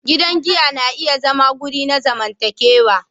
Gidan giya na iya zama wuri na zamantakewa.